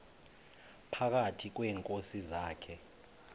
phakathi kweenkosi zakhe